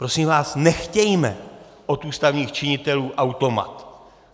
Prosím vás, nechtějme od ústavních činitelů automat.